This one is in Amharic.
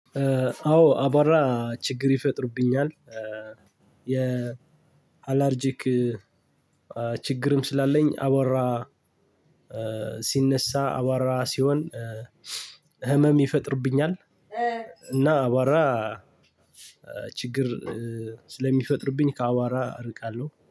አዎ አቧራ ችግር ይፈጥርብኛል፤ የአላርጅክ ችግር ስላለኝ አቧራ ሲነሳ፣ አቧራ ሲሆን ህመም ይፈጥርብኛል፤ እና አቧራ ችግር ስለሚፈጥርብኝ ከአቧራ ርቃለው።